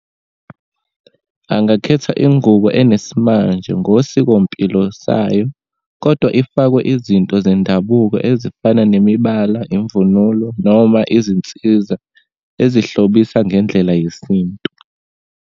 Angakhetha ingubo enesimanje ngosikompilo sayo, kodwa ifakwe izinto zendabuko, ezifana nemibala, imvunulo, noma izinsiza ezihlobisa ngendlela yesintu.